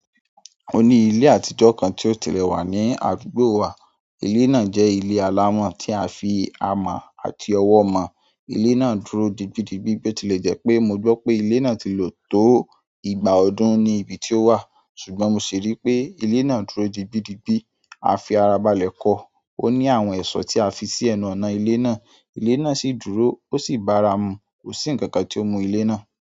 O ní ilé àtijọ́ kan tí ó tilẹ̀ wà ní àdúgbò wa. Ilé náà jẹ́ ilé alámọ̀, tí a fi amọ̀ àti ọwọ́ ma. Ilé náà dúró dibídibí bóti lé jẹ́ pé mo gbọ́ pé ilé náà ti lò tó ìgbà ọdún ní ibi tí ó wà, ṣùgbọ́n mo ṣi rí pé ilé náà dúró dibídibí. A fi ara balẹ̀ kọ. Ó ní àwọn ẹ̀ṣọ́ tí a fi sí ẹnu ọ̀nà ilé náà. Ilé náà sì dúró, ó sì bára mu. Kò sí ǹkan kan tí o mú ilé náà.